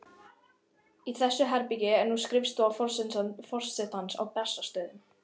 Í þessu herbergi er nú skrifstofa forsetans á Bessastöðum.